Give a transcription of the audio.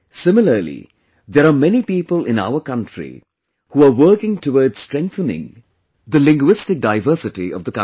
Similarly, there are many people in our country who are working towards strengthening the linguistic diversity of the country